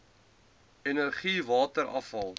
energie water afval